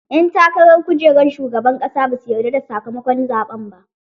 Ƴan takarar kujerar shugaban ƙasa basu yarda da sakamakon zaɓen ba.